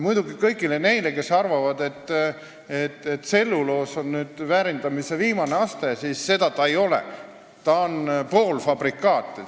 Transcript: Muidugi ütlen kõigile neile, kes arvavad, et tselluloos on väärindamise viimane aste, et ta seda ei ole, ta on poolfabrikaat.